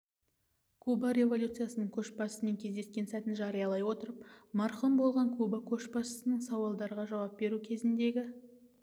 куба революциясының көшбасшысымен кездескен сәтін жариялай отырып марқұм болған куба көшбасшысының сауалдарға жауап беру кезіндегі